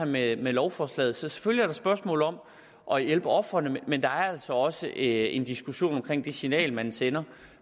med med lovforslaget så selvfølgelig et spørgsmål om at hjælpe ofrene men der er altså også en diskussion om det signal man sender